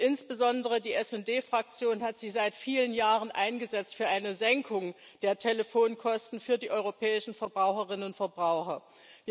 Insbesondere die SD Fraktion hat sich seit vielen Jahren für eine Senkung der Telefonkosten für die europäischen Verbraucherinnen und Verbraucher eingesetzt.